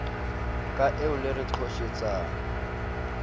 ka eo le re qhoshetsang